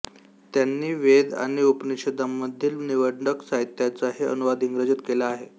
त्यांनी वेद आणि उपनिषदांमधील निवडक साहित्याचाही अनुवाद इंग्रजीत केला आहे